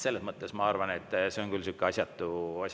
Selles mõttes ma arvan, et see on küll asjatu etteheide.